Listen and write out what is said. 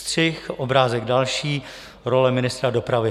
Střih, obrázek další: role ministra dopravy.